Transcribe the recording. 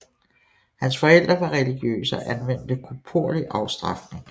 Hans forældre var religiøse og anvendte koporlig afstrafning